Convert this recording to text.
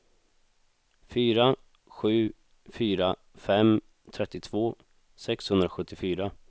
fyra sju fyra fem trettiotvå sexhundrasjuttiofyra